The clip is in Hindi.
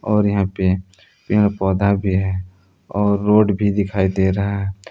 और यहां पे पेड़ पौधा भी है और रोड भी दिखाई दे रहा है।